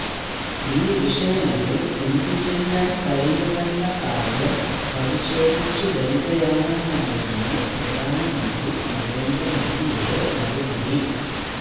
ഈ വിഷയങ്ങളിൽ എന്തു ചെയ്യാൻ കഴിയുമെന്ന കാര്യം പരിശോധിച്ചുവരികയാണെന്നായിരുന്നു പ്രധാനമന്ത്രി നരേന്ദ്ര മോദിയുടെ മറുപടി